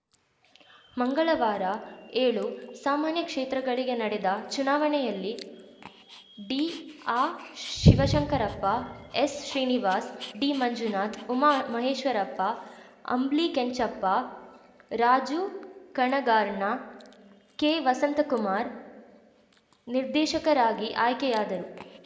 ಮಂಗಳವಾರ ಏಳು ಸಾಮಾನ್ಯ ಕ್ಷೇತ್ರಗಳಿಗೆ ನಡೆದ ಚುನಾವಣೆಯಲ್ಲಿ D R Shivashankarappa S Srinivas D Manjunath Uma Maheshwarappa Ambli Kenchappa Raju ಕಣಗಾರ್ಣ ಕೆ ವಸಂತಕುಮಾರ್‌ ನಿರ್ದೇಶಕರಾಗಿ ಅಯ್ಕೆಯಾದರು